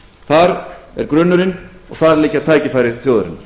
þar er grunnurinn og þar liggja tækifæri þjóðarinnar